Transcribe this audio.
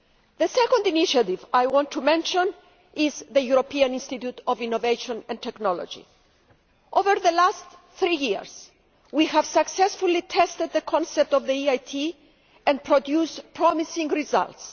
The second initiative I want to mention is the European Institute of Innovation and Technology. Over the last three years, we have successfully tested the concept of the EIT and produced promising results.